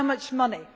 you. How much